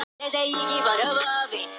Ekki enn þá